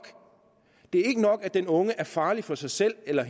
det er ikke nok at den unge er farlig for sig selv eller